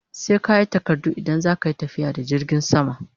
Sai kayi takardu idan zaka Yi tafiya da jirgin sama